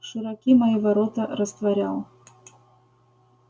широки мои ворота растворял